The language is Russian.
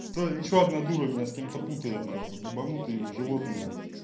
толь ещё одна дура меня с кем-то путают нахуй ебанутые вы животные нах